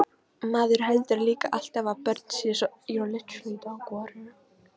Maður heldur líka alltaf að börn séu svo góð.